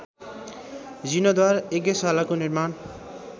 जीर्णोद्धार यज्ञशालाको निर्माण